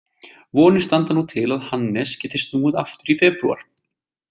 Vonir standa nú til að Hannes geti snúið aftur í febrúar.